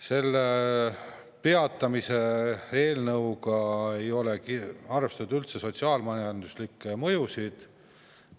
Selle peatamise eelnõu puhul ei ole üldse arvestatud sotsiaal-majanduslikke mõjusid.